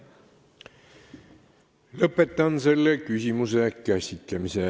Lõpetan selle küsimuse käsitlemise.